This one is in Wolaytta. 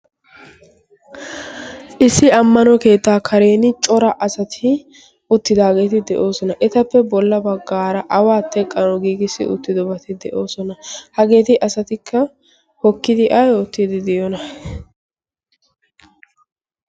issi ammano keetaa kareeni cora asati uttidaageeti de'oosona. etappe bolla baggaara awaa teqqano giigissi uttidobati de'oosona. hageeti asatikka hokkidi ai oottiidi diyona?